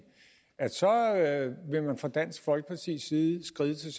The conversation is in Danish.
vil man fra dansk folkepartis side skride til